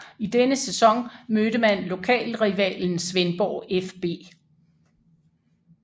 I denne sæson mødte man lokalrivalen Svendborg fB